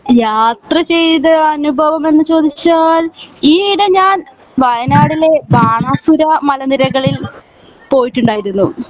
യാത്ര ചെയ്ത അനുഭവം എന്ന് ചോദിച്ചാൽ ഈ ഇടെ ഞാൻ വയനാടിലെ ബാനാസുര മലനിരകളിൽ പോയിട്ടുണ്ടായിരുന്നു